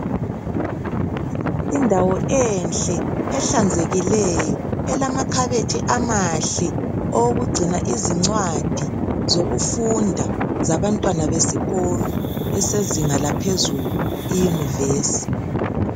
Indawo enhle ehlanzekileyo elamakhabethe amahle owokugcina izincwadi zokufunda zabantwana besikolo esezinga laphezulu iyunivesi.